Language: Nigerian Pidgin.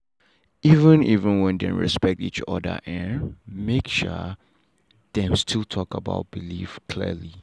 even even when dem respect each other um make um dem still talk about belief clearly.